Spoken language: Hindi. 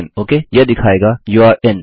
लॉगिन ओके यह दिखायेगा यूरे in